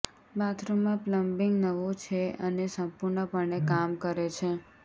બાથરૂમમાં પ્લમ્બિંગ નવો છે અને સંપૂર્ણપણે કામ કરે છે